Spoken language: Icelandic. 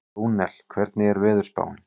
Rúnel, hvernig er veðurspáin?